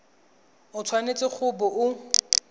o tshwanetse go bo o